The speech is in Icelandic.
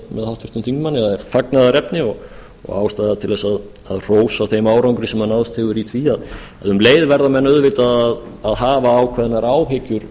háttvirtum þingmanni að er fagnaðarefni og ástæða til að hrósa þeim árangri sem náðst hefur í því en um leið verða menn auðvitað að hafa ákveðnar áhyggjur